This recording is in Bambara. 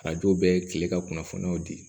Arajo bɛɛ ye kile ka kunnafoniyaw di